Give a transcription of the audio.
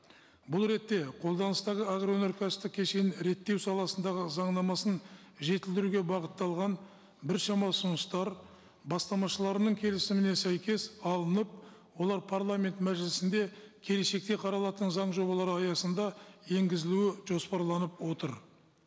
бұл ретте қолданыстағы агроөнеркәсіптік кешенін реттеу саласындағы заңнамасын жетілдіруге бағытталған біршама ұсыныстар бастамашыларының келісіміне сәйкес алынып олар парламент мәжілісінде келешекте қаралатын заң жобалары аясында енгізілуі жоспарланып отыр